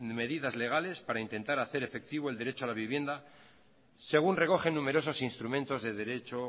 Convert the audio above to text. medidas legales para intentar hacer efectivo el derecho a la vivienda según recogen numerosos instrumentos de derecho